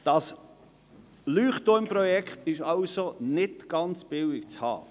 Dieses Leuchtturmprojekt ist also nicht ganz billig zu haben.